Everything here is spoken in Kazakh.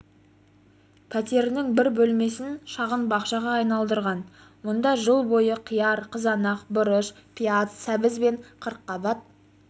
пәтерінің бір бөлмесін шағын бақшаға айналдырған мұнда жыл бойы қияр қызанақ бұрыш пияз сәбіз бен қырыққабат